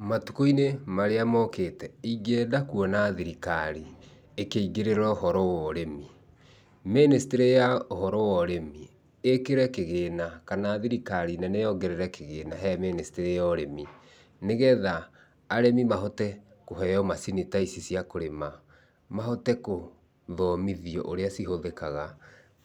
Matũkũ-inĩ marĩa mokĩte ingĩenda kuona thirikari ĩkĩingĩrĩra ũhoro wa ũrĩmi. Ministry ya ũhoro wa ũrĩmi ĩkĩre kĩgĩna kana thirikari nene yongerere kĩgĩna he ministry ya ũrĩmi, nĩgetha arimi mahote kũheo macini ta ici cia kũrima, mahote gũthomithio ũrĩa cihũthĩkaga,